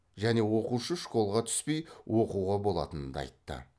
және оқушы школға түспей оқуға болатынын да айтты